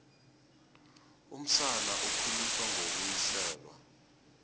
umsana ukhuliswa ngokuwiselwa